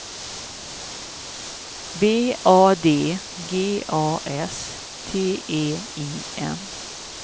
B A D G A S T E I N